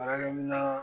Baarakɛ mina